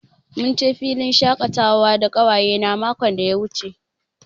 Mun je filin shakatawa da ƙawayena makon da ya wuce.